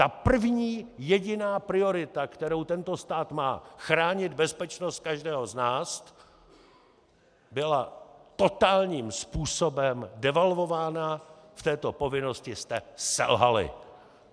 Ta první jediná priorita, kterou tento stát má, chránit bezpečnost každého z nás, byla totálním způsobem devalvována, v této povinnosti jste selhali!